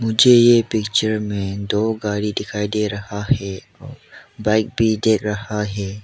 मुझे ये पिक्चर में दो गाड़ी दिखाई दे रहा है बाइक भी दिख रहा है।